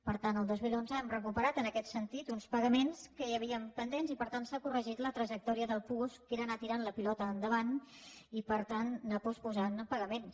per tant el dos mil onze hem recuperat en aquest sentit uns pagaments que hi havien pendents i per tant s’ha corregit la trajectòria del puosc que era anar tirant la pilota endavant i per tant anar posposant pagaments